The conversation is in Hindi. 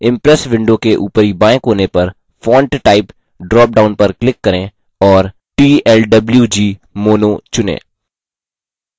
impress window के ऊपरी बाएँ कोने पर font type dropdown पर click करें और tlwgmono चुनें